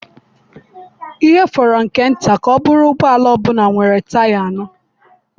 Ihe fọrọ nke nta ka ọ bụrụ ụgbọ ala ọ bụla nwere taya anọ.